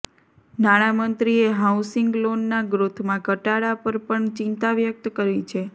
નાણામંત્રીએ હાઉસિંગ લોનના ગ્રોથમાં ઘટાડા પર પણ ચિંતા વ્યક્ત કરી છે